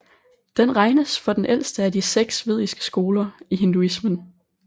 Den regnes for den ældste af de seks vediske skoler i hinduismen